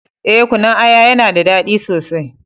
Eh, Kunun aya ya na da dadi sosai